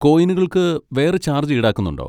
കോയിനുകൾക്ക് വേറെ ചാർജ് ഈടാക്കുന്നുണ്ടോ?